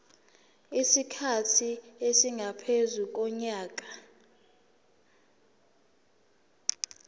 isikhathi esingaphezu konyaka